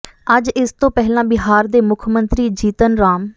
ਅੱਜ ਇਸ ਤੋਂ ਪਹਿਲਾਂ ਬਿਹਾਰ ਦੇ ਮੁੱਖ ਮੰਤਰੀ ਜੀਤਨ ਰਾਮ